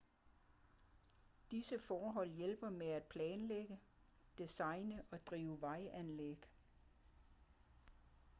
disse forhold hjælper med at planlægge designe og drive vejanlæg